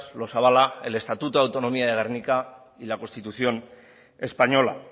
los avala el estatuto de autonomía de gernika y la constitución española